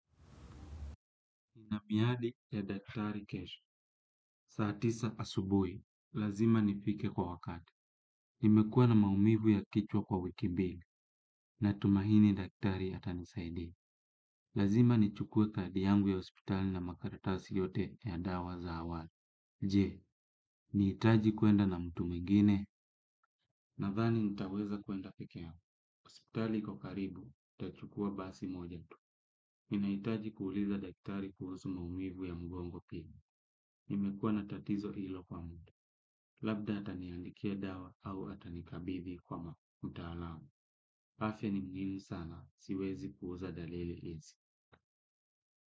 Nina miadi ya daktari kesho. Saa tisa asubuhi. Lazima nifike kwa wakati. Nimekuwa na maumivu ya kichwa kwa wiki mbili. Natumaini daktari ya atanisaidia. Lazima nichukue kadi yangu ya hospitali na makaratasi yote ya dawa za awali. Je, nahitaji kwenda na mtu mwingine? Nadhani nitaweza kwenda peke yangu. Hospitali iko karibu, nitachukua basi moja tu. Ninahitaji kuuliza daktari kuhusu maumivu ya mgongo pia. Nimekuwa na tatizo hilo kwa muda. Labda ataniandikia dawa au atanikabithi kwa mtaalamu. Afya ni muhimu sana. Siwezi puuza dalili hizi.